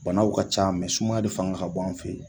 Banaw ka ca sumaya de fanga ka bon an fe yen